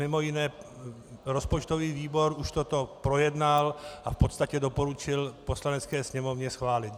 Mimo jiné rozpočtový výbor už toto projednal a v podstatě doporučil Poslanecké sněmovně schválit.